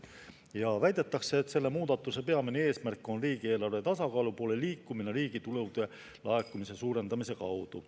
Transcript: Ja väidetakse, et selle muudatuse peamine eesmärk on riigieelarve tasakaalu poole liikumine riigitulude laekumise suurendamise kaudu.